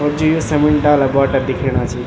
और जू यु समणी डाला बोटा दिखेणा छी।